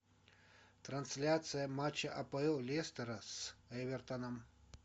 трансляция матча апл лестера с эвертоном